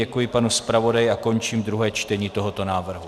Děkuji panu zpravodaji a končím druhé čtení tohoto návrhu.